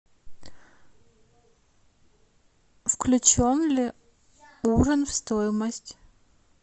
включен ли ужин в стоимость